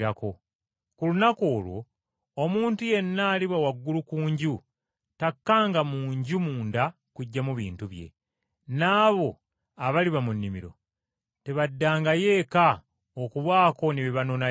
Ku lunaku olwo omuntu yenna aliba waggulu ku nju, takkanga mu nju munda kuggyamu bintu bye. N’abo abaliba mu nnimiro tebaddangayo eka okubaako ne bye banonayo.